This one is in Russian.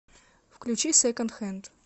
включи секонд хэнд